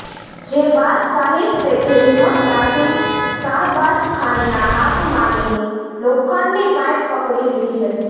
જે બાદ શાહિદ શેખે હિંમત દાખવી સાહબાજખાનના હાથમાંની લોખંડની પાઈપ પકડી લીધી હતી